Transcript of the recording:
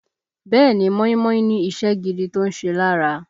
Bẹ́ẹ̀ ni, móímóí ní iṣẹ́ gidi tó ń ṣe lára